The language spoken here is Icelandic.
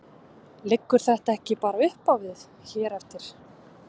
Liggur þetta ekki bara uppá við hér eftir?